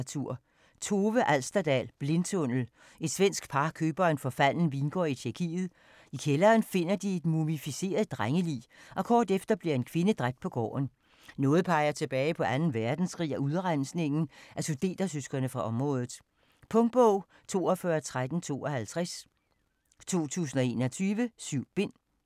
Alsterdal, Tove: Blindtunnel Et svensk par køber en forfalden vingård i Tjekkiet. I kælderen finder de et mumificeret drengelig, og kort efter bliver en kvinde dræbt på gården. Noget peger tilbage på anden verdenskrig og udrensningen af sudetertyskere fra området. Punktbog 421352 2021. 7 bind.